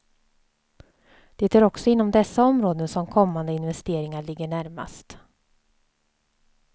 Det är också inom dessa områden som kommande investeringar ligger närmast.